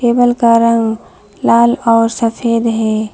Table का रंग लाल और सफेद है।